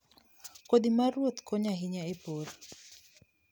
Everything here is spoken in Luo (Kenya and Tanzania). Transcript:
Kodhi ma ruoth konyo ahinya e pur.